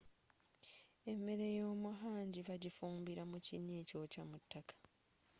emmere yomu hangi bagifumbira mu kinya ekyokya mu taka